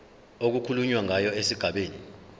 okukhulunywa ngayo esigabeni